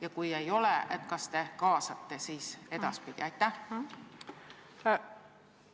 Ja kui ei ole, siis kas te ehk edaspidi kaasate?